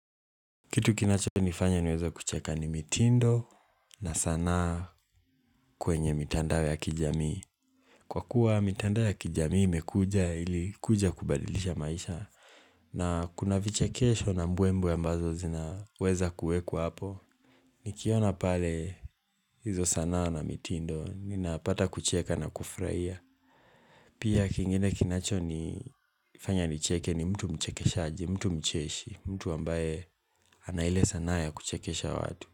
Kitu kinachonifanya niweze kucheka ni mitindo na sanaa kwenye mitandao ya kijamii. Kwa kuwa mitandao ya kijamii ilikuja kubadilisha maisha. Na kuna vichekesho na mbwembe ambazo zinaweza kuwekwa hapo. Nikiona pale hizo sana na mitindo ninapata kucheka na kufurahia. Pia kingene kinachonifanya nicheke ni mtu mchekeshaji, mtu mcheshi, mtu ambaye ana ile sanaa ya kuchekesha watu.